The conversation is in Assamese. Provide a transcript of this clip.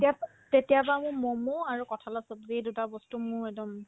তেতিয়া অপ্ তেতিয়াৰ পৰা মোৰ ম'ম আৰু কঁঠালৰ ছব্জি এই দুটা বস্তু মোৰ একদম